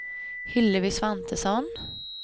Hillevi Svantesson